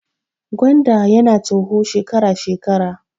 Gwanda ya na toho shekara shekara